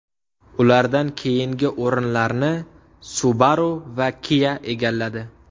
Ulardan keyingi o‘rinlarni Subaru va Kia egalladi.